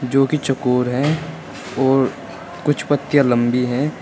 जो कि चौकोर हैं और कुछ पत्तियां लंबी हैं।